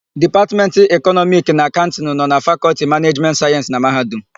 Dipatmentị Ekọnọmiki na Akaụntịnụ na-anọ na lFakọlti Manejimentị Sayensị na Mahadum.